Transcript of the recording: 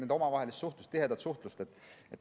See eeldab nende omavahelist tihedat suhtlust.